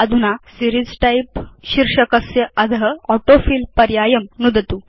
अधुना series type शीर्षकस्य अध ऑटोफिल पर्यायं नुदतु